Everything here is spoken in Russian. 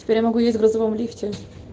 теперь я могу ездить в грузовом лифте